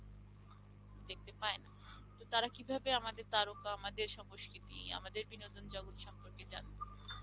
দেখতে পায় না। তো তারা কিভাবে আমদের তারকা আমাদের সংস্কৃতি আমাদের বিনোদন জগত সম্পর্কে জানবে?